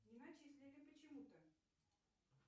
не начислили почему то